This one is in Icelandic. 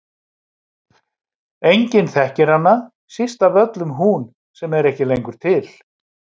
Enginn þekkir hana, síst af öllum hún sem er ekki lengur til.